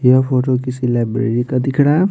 यह फोटो किसी लाइब्रेरी का दिख रहा है।